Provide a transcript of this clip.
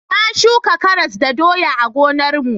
Na shuka karas da doya a gonar mu